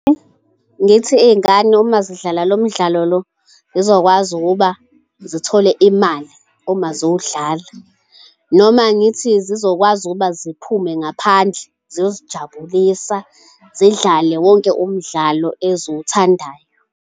Ngithi iy'ngane uma zidlala lo mdlalo lo, zizokwazi ukuba zithole imali uma ziwudlala, noma ngithi zizokwazi ukuba ziphume ngaphandle ziyozijabulisa zidlale wonke umdlalo eziwuthandayo.